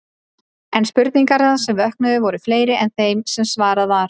En spurningarnar sem vöknuðu voru fleiri en þær sem svarað var.